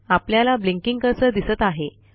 आपल्याला blinking cursor दिसत आहे